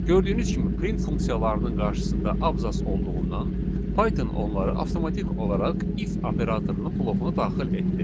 Gördüyünüz kimi print funksiyalarının qarşısında abzas olduğundan Python onları avtomatik olaraq if operatorunun blokuna daxil etdi.